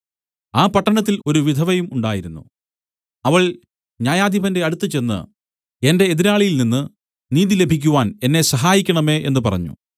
ആ പട്ടണത്തിൽ ഒരു വിധവയും ഉണ്ടായിരുന്നു അവൾ ന്യായാധിപന്റെ അടുക്കൽ ചെന്ന് എന്റെ എതിരാളിയിൽനിന്ന് നീതി ലഭിക്കുവാൻ എന്നെ സഹായിക്കണമേ എന്നു പറഞ്ഞു